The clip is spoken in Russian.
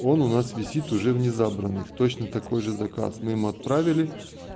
он у нас висит уже в не забранных точно такой же заказ мы вам отправили